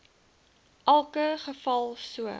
elke geval so